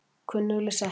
Kunnugleg setning.